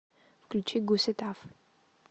включи гуситаф